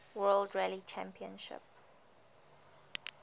world rally championship